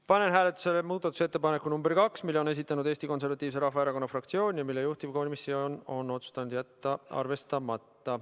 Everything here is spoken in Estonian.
Panen hääletusele muudatusettepaneku nr 2, mille on esitanud Eesti Konservatiivse Rahvaerakonna fraktsioon ja mille juhtivkomisjon on otsustanud jätta arvestamata.